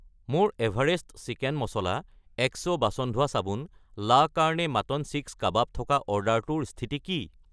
মোৰ Everest chicken masala , এক্সো বাচন ধোৱা চাবোন , লা কাৰ্ণে মাটন সীখ কাবাব থকা অৰ্ডাৰটোৰ স্থিতি কি?